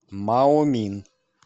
маомин